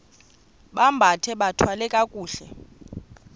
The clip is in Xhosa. bambathe bathwale kakuhle